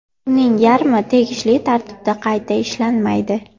Uning yarmi tegishli tartibda qayta ishlanmaydi.